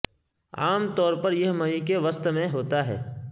عام طور پر یہ مئی کے وسط میں ہوتا ہے